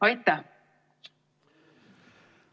Aitäh!